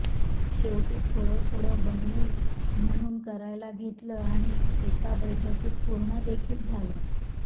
शेवटी थोडं थोडं बनवू म्हणून करायला घेतलं आणि एका बैठकीत पूर्ण देखिल झालं